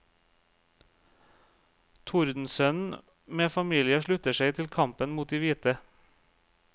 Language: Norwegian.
Tordensønnen med familie slutter seg til kampen mot de hvite.